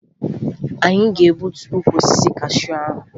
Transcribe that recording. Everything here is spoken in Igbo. Anyị ga-egbutu ukwu osisi kashuu ahụ